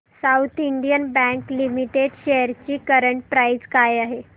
south Indian bank limited shares ची current price काय आहे